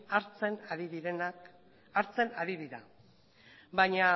hartzen ari dira baina